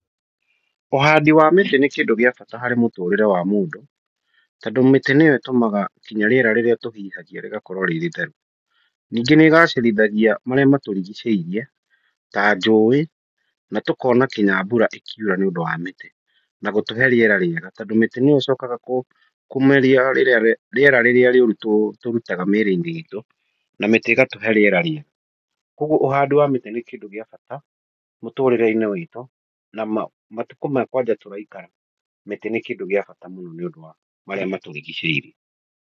Ũhandi wa mĩtĩ nĩ kĩndũ gĩa bata harĩ mũtũrĩre wa mũndũ tondũ mĩtĩ nĩyo ĩtũmaga nginya rĩera rĩrĩa tũhihagia rĩgakorwo rĩ rĩtheru. Ningĩ nĩ ĩgacĩrithagia marĩa matũrigicĩirie ta njũũĩ na tũkona nginya mbura ĩkiura nĩ ũndũ wa mĩtĩ na gũtũhe rĩera rĩega tondũ mĩtĩ nĩyo ĩcokaga kũmeria rĩera rĩrĩa rĩũru tũrutaga mĩĩrĩ-inĩ itũ na mĩtĩ ĩgatũhe rĩera rĩega. Kwoguo ũhandi wa mĩtĩ nĩ kĩndũ gĩa bata mũtũrĩre-inĩ witũ na matukũ maya kwanja tũraikara, mĩtĩ nĩ kĩndũ gĩa bata mũno nĩ ũndũ wa marĩa matũrigicĩirie.